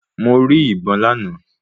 Mo rí ìbọn lánàá.